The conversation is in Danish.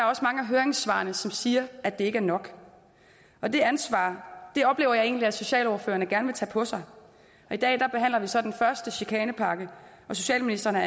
også mange af høringssvarene som siger at det ikke er nok og det ansvar oplever jeg egentlig at socialordførerne gerne vil tage på sig i dag behandler vi så den første chikanepakke socialministeren har